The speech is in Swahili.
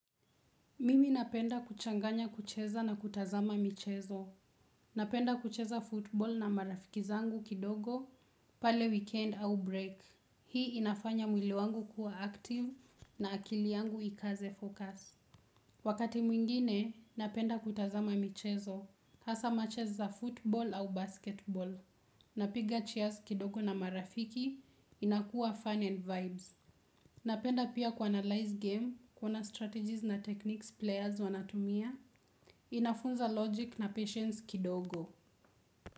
Mimi napenda kuchanganya kucheza na kutazama michezo. Napenda kucheza football na marafiki zangu kidogo pale weekend au break. Hii inafanya mwili wangu kuwa active na akili yangu ikaze focus. Wakati mwingine, napenda kutazama michezo. Hasa matches za football au basketball. Napiga cheers kidogo na marafiki inakuwa fun and vibes. Napenda pia ku-analyze game, kuona strategies na techniques players wanatumia, inafunza logic na patience kidogo.